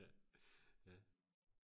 ja ja